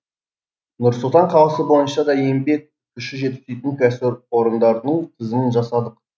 нұр сұлтан қаласы бойынша да еңбек күші жетіспейтін кәсіпорындардың тізімін жасадық